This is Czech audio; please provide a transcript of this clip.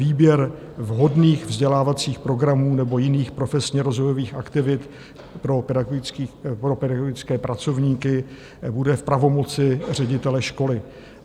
Výběr vhodných vzdělávacích programů nebo jiných profesně rozvojových aktivit pro pedagogické pracovníky bude v pravomoci ředitele školy.